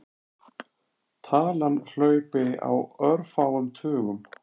Talan hlaupi á örfáum tugum.